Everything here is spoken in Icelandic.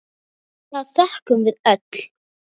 Fyrir það þökkum við öll.